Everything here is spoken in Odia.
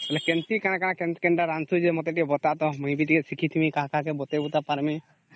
ବୋଇଲେ କେମିତି କେନ କେନ ରାନ୍ଧୁଛୁ ମତେ ଟିକେ ବତା ତା ମୁଇ ଟିକେ ଶିଖିଥିବ କାହା କାହା କେ ବତାଇ ତା ପରିମେ